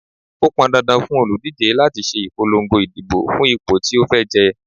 Ó pọn dandan fún òlùdíje láti ṣe ìpolongo ìdìbò fún ipò tí ó fẹ́ jẹ.